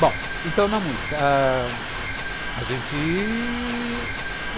Bom, então, na música ãh... A gente...